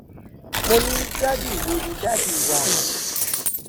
mo ní dádì wò ó ní dádì wà